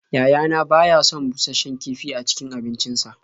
Yayana ba ya son bushasshen kifi a cikin abincinsa.